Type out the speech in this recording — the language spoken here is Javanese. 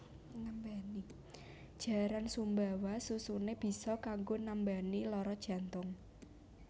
Jaran Sumbawa susune biso kanggo nambani loro jantung